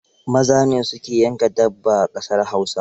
Maza ne su ke yanka dabba a ƙasar Hausa.